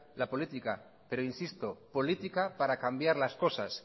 la política pero insisto política para cambiar las cosas